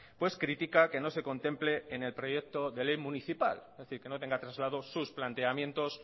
pues critica que no se contemple en el proyecto de ley municipal es decir que no tenga traslado sus planteamientos